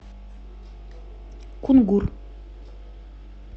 кунгур